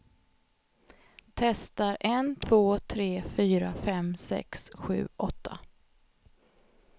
Testar en två tre fyra fem sex sju åtta.